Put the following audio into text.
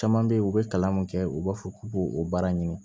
Caman bɛ yen u bɛ kalan min kɛ u b'a fɔ k'u b'o o baara ɲini